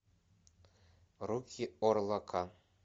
руки орлака